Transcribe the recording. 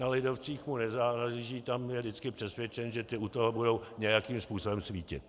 Na lidovcích mu nezáleží, tam je vždycky přesvědčen, že ti u toho budou nějakým způsobem svítit.